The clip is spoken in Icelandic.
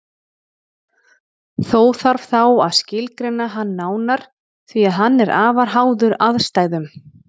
Þó þarf þá að skilgreina hann nánar því að hann er afar háður aðstæðum.